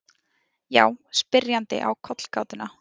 Já, spyrjandi á kollgátuna.